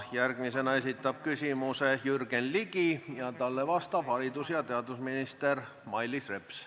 Järgmisena esitab küsimuse Jürgen Ligi ja talle vastab haridus- ja teadusminister Mailis Reps.